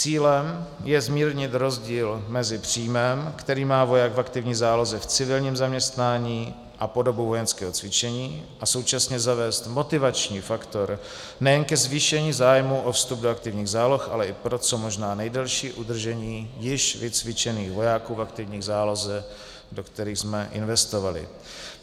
Cílem je zmírnit rozdíl mezi příjmem, který má voják v aktivní záloze v civilním zaměstnání a po dobu vojenského cvičení a současně zavést motivační faktor nejen ke zvýšení zájmu o vstup do aktivních záloh, ale i pro co možná nejdelší udržení již vycvičených vojáků v aktivní záloze, do kterých jsme investovali.